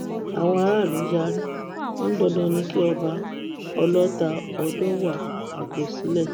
àwọn aráàlú yarí wọn ní dandan ni kí ọba ọlọta ọdọọwà fipò sílẹ